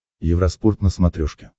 евроспорт на смотрешке